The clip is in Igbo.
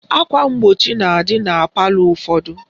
Akwa mgbochi na-adị na palọ ụfọdụ